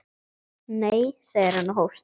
Nei, segir hann og hóstar.